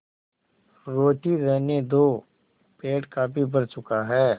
रोटी रहने दो पेट काफी भर चुका है